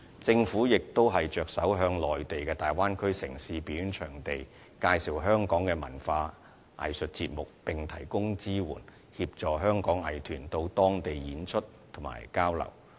政府亦着手向內地粵港澳大灣區城市的表演場地介紹香港的文化藝術節目，並提供支援，協助香港藝團到當地演出和交流。